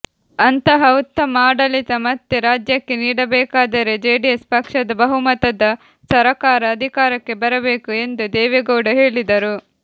ಅಂತಹ ಉತ್ತಮ ಆಡಳಿತ ಮತ್ತೆ ರಾಜ್ಯಕ್ಕೆ ನೀಡಬೇಕಾದರೆ ಜೆಡಿಎಸ್ ಪಕ್ಷದ ಬಹುಮತದ ಸರಕಾರ ಅಧಿಕಾರಕ್ಕೆ ಬರಬೇಕು ಎಂದು ದೇವೇಗೌಡ ಹೇಳಿದರು